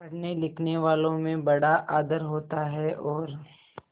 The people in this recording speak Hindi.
पढ़नेलिखनेवालों में बड़ा आदर होता है और